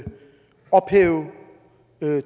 ophæve